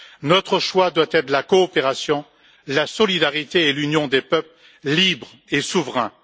Notre choix doit être la coopération, la solidarité et l'union des peuples libres et souverains.